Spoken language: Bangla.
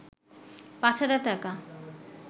৫ হাজার টাকা